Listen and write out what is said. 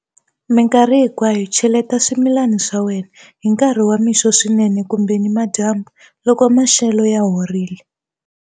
Mikarhi hinkwayo cheleta swimilani swa wena hi nkarhi wa mixo swinene kumbe nimadyambu, loko maxelo ya horile.